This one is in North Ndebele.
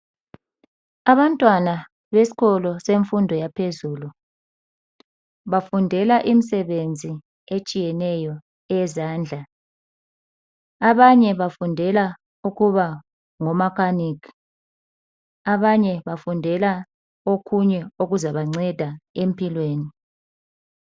Abantwana besikolo semfundo yangaphezulu. bafundela imisebenzi etshiyeneyo eyezandla, abanye bafundelabu ukuba ngomakanika abanye bafundela okunye okuza bancedisa empilweni.